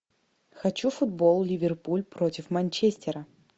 хочу футбол ливерпуль против манчестера